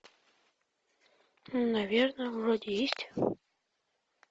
наверно вроде есть